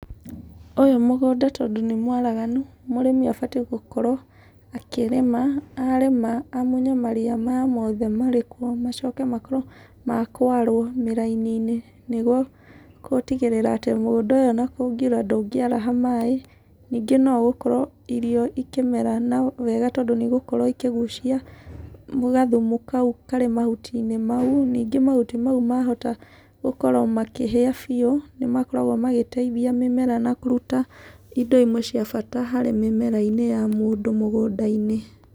Ũyũ mũgũnda tondũ nĩ mwaraganu, mũrĩmi abatiĩ gũkorwo akĩrĩma, arĩma amunye maria maya mothe marĩ kuo, macoke makorwo makwarwo mĩraininĩ nĩguo gũtigĩrĩra atĩ ona mũgũnda ũyũ ona kũngiura atĩ ndũngĩaraha maĩ. Ningĩ no ũgũkora irio ikĩmera wega tondũ nĩ igũkorwo ikĩgucia gathumu kau karĩ mahutinĩ mau. Ningĩ mahuti mau mahota gũkorwo makĩhĩa biũ, nĩ makoragwo magĩteithia mĩmera na kũruta indo cia bata harĩ mĩmerainĩ ya mũndũ mũgũnda-inĩ.